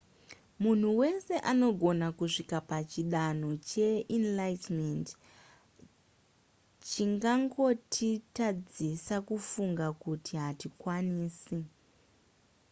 munhu wese anogona kusvika pachidanho cheenlightenment chingangotitadzisa kufunga kuti hatikwanisi